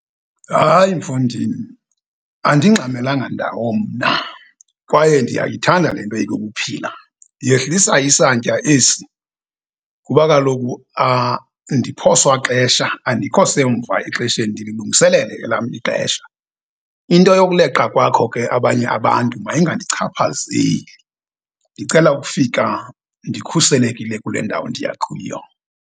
Hayi, mfondini! Andingxamelanga ndawo mna kwaye ndiyayithanda le nto eyokuphila. Yehlisa isantya esi kuba kaloku andiphoswa xesha, andikho semva exesheni, ndililungiselele elam ixesha. Into yokuleqa kwakho ke abanye abantu mayingandichaphazeli. Ndicela ukufika ndikhuselekile kule ndawo ndiya kuyo.